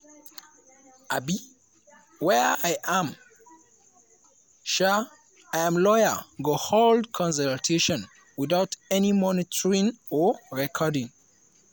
um wia im and um im lawyers go hold consultation witout any monitoring or recording.